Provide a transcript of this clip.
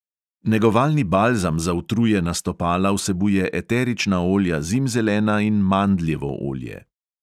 Negovalni balzam za utrujena stopala vsebuje eterična olja zimzelena in mandljevo olje.